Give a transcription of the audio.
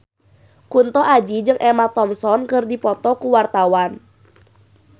Kunto Aji jeung Emma Thompson keur dipoto ku wartawan